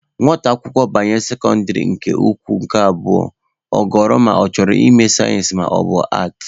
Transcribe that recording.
Nwata akwụkwọ banye sekọndịrị ukwu nke abụọ, ọ ghọrọ ma ọ chọrọ ịme sayensị maọbụ aatị.